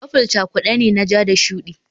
Purple cakude ne na ja da shuɗi